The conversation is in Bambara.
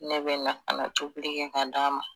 Ne be na ka na tobili kɛ ka d'a ma